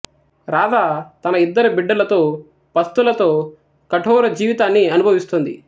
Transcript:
రాధ తన ఇద్దరు బిడ్డలతో పస్తులతో కఠోర జీవితాన్ని అనుభవిస్తుంది